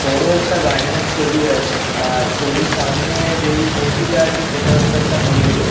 বড়ো একটা গার্ডেন -এর ছবি আছে আর ছবির সামনে যেই মূর্তিটা আছে সেটা হচ্ছে একটা ময়ূরের।